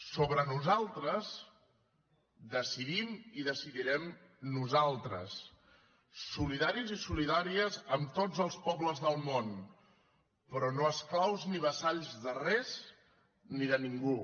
sobre nosaltres decidim i decidirem nosaltres solidaris i solidàries amb tots els pobles del món però no esclaus ni vassalls de res ni de ningú